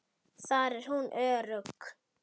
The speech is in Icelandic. Þar er hún örugg.